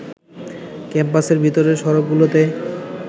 ক্যাম্পাসের ভেতরের সড়কগুলোতে